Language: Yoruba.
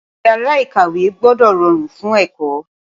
Ìyàrá-ìkàwé gbọ́dọ̀ rọrùn fún ẹ̀kọ́.